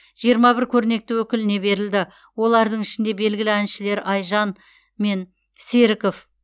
жиырма бір көрнекті өкіліне берілді олардың ішінде белгілі әншілер айжан мен серіков